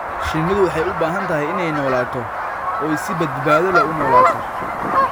Shinnidu waxay u baahan tahay inay noolaato oo ay si badbaado leh u noolaato.